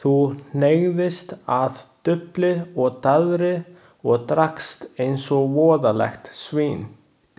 Þú hneigðist að dufli og daðri og drakkst eins og voðalegt svín.